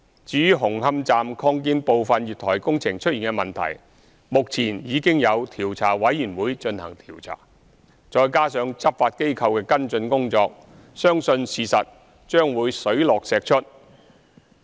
至於紅磡站擴建部分月台工程出現的問題，目前已有調查委員會進行調查，再加上執法機構的跟進工作，相信事實將會水落石出。